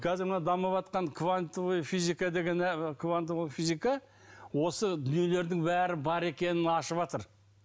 қазір мына дамыватқан квантовая физика деген квантовая физика осы дүниелердің бәрі бар екенін ашыватыр